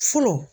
Fɔlɔ